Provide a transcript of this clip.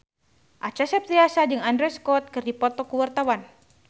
Acha Septriasa jeung Andrew Scott keur dipoto ku wartawan